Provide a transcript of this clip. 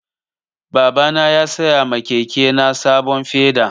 Baba na ya saya ma keke na sabon feda